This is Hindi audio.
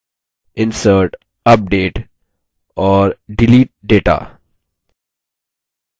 insert update और delete data